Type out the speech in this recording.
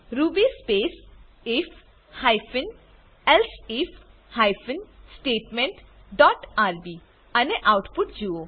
Ruby space IF hyphen elsif hyphen statement dot RB અને output જુઓ